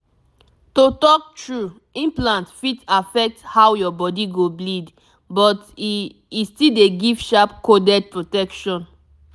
to talk true implant fit affect how your body go bleed but e e still dey give sharp coded protection.